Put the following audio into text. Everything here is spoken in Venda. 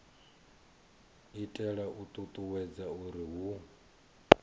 itela u ṱuṱuwedza uri hu